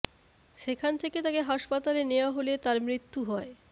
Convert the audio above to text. সেখান থেকে তাকে হাসপাতালে নেওয়া হলে তার মৃত্যু হয়